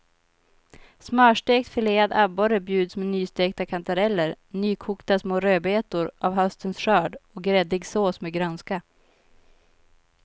Smörstekt filead abborre bjuds med nystekta kantareller, nykokta små rödbetor av höstens skörd och gräddig sås med grönska.